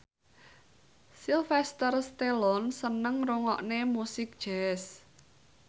Sylvester Stallone seneng ngrungokne musik jazz